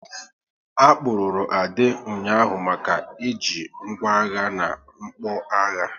A kpụrụru Ade ụnyaahụ maka e ji ngwá agha na mgbọagha